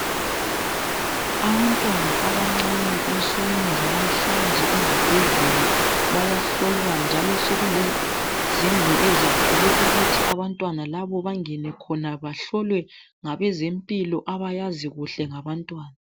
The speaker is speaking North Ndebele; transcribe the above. Abantwana abancane ensukwini zalamhlanje ezibhedlela bayahlolwa njalo sokulezindlu ezakhelwe ukuthi abantwana laba bangene khona bahlolwe ngabezempilo abayazi kuhle ngabantwana.